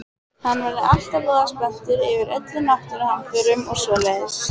Hann verður alltaf voða spenntur yfir öllum náttúruhamförum og svoleiðis.